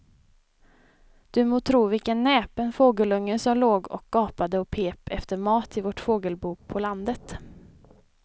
Du må tro vilken näpen fågelunge som låg och gapade och pep efter mat i vårt fågelbo på landet.